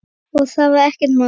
Og það var ekkert mál.